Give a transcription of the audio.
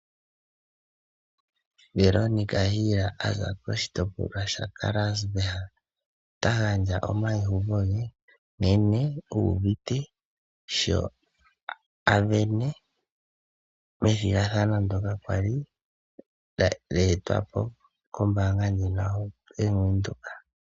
Veronica Hill ayambuka koshitopolwa shaKarasburg ota gandja omayiuvo ge nkene uuvite sho asindana methigathano ndoka kwali lya etwapo kombaanga YaVenduka.